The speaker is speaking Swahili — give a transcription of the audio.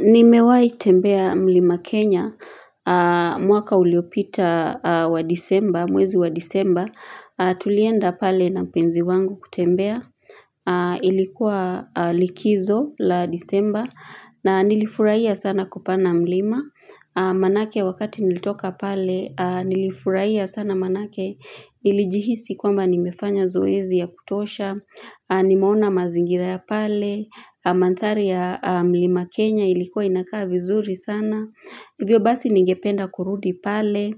Nimewaitembea mlima Kenya, mwaka uliopita wa disemba, mwezi wa disemba, tulienda pale na penzi wangu kutembea, ilikuwa likizo la disemba, na nilifurahia sana kupana mlima, manake wakati nilitoka pale, nilifurahia sana manake nilijihisi kwamba nimefanya zoezi ya kutosha, Nimeona mazingira ya pale mandhari ya mlima Kenya ilikuwa inakaa vizuri sana vyo basi ningependa kurudi pale